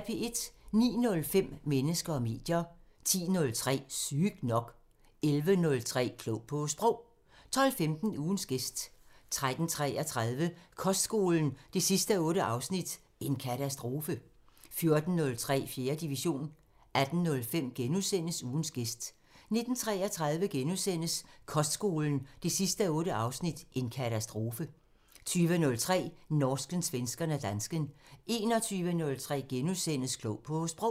09:05: Mennesker og medier 10:03: Sygt nok 11:03: Klog på Sprog 12:15: Ugens gæst 13:33: Kostskolen 8:8 – "En katastrofe" 14:03: 4. division 18:05: Ugens gæst * 19:33: Kostskolen 8:8 – "En katastrofe" * 20:03: Norsken, svensken og dansken 21:03: Klog på Sprog *